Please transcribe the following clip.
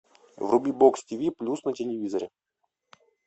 вруби бокс тиви плюс на телевизоре